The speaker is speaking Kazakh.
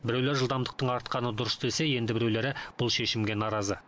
біреулер жылдамдықтың артқаны дұрыс десе енді біреулері бұл шешімге наразы